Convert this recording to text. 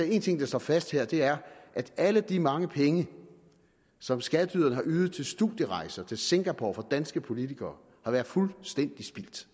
én ting der står fast her og det er at alle de mange penge som skatteyderne har ydet til studierejser til singapore for danske politikere har været fuldstændig spildt